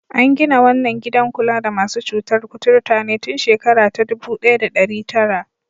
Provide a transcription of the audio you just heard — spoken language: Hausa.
An gina wannan gidan kula da masu cutar kuturta ne tun shekara ta dubu ɗaya da ɗari tara.